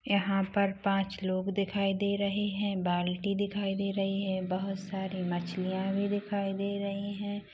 यहाँ पर पांच लोग दिखाई दे रहे है बाल्टी दिखाई दे रही है बहुत सारी मछलियां भी दिखाई दे रही है।